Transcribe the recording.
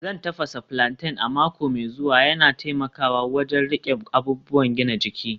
Zan tafasa plantain a mako mai zuwa, yana taimakawa wajen riƙe abubuwan gina jiki